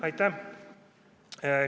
Aitäh!